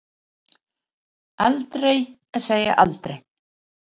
En aldrei að segja aldrei.